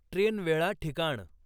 train वेळा ठिकाण